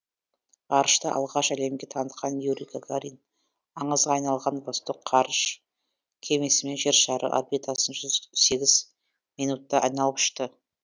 ғарышты алғаш әлемге танытқан юрий гагарин аңызға айналған восток ғарыш кемесімен жер шары орбитасын жүз сегіз минутта айналып ұшты